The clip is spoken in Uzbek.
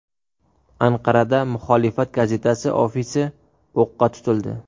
Anqarada muxolifat gazetasi ofisi o‘qqa tutildi.